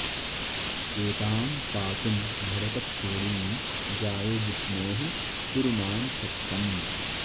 एतां पातुं भरतक्षोणीं जाये जिष्णोः कुरु मां शक्तम्